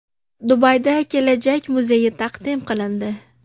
Dubayda kelajak muzeyi taqdim qilindi.